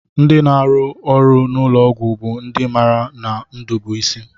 Ndị na-arụ n'ụlọọgwụ bụ ndị maara na ndụ bụ isi